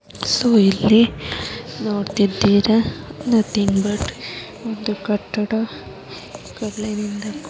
So ಇಲ್ಲಿ ನೋಡ್ತಿದ್ದೀರಾ ಒಂದು ಕಟ್ಟಡ ಕಲ್ಲಿನಿಂದ ಮಾಡಿದ್ದಾರೆ.